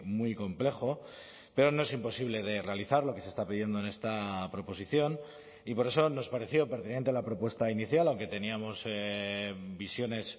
muy complejo pero no es imposible de realizar lo que se está pidiendo en esta proposición y por eso nos pareció pertinente la propuesta inicial aunque teníamos visiones